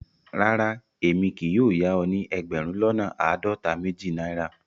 Rárá, èmi kì yóò yà o ni ẹgbérùn lọ́nà aádọ́ta-méjì Naira.